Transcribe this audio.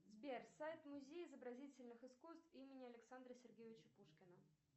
сбер сайт музей изобразительных искусств имени александра сергеевича пушкина